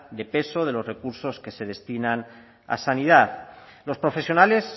de peso de los recursos que se destinan a sanidad los profesionales